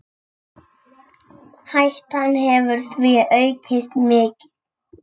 Hættan hefur því aukist mikið.